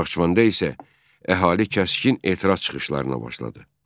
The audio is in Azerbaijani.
Naxçıvanda isə əhali kəskin etiraz çıxışlarına başladı.